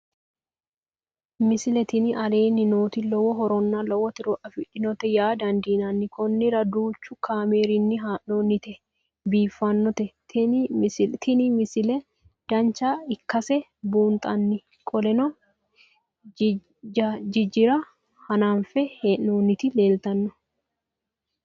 misile tini aleenni nooti lowo horonna lowo tiro afidhinote yaa dandiinanni konnira danchu kaameerinni haa'noonnite biiffannote tini misile dancha ikkase buunxanni qoleno jijaara hanafe heee'nooti leeltanno